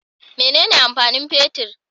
Mene ne amfani fetir?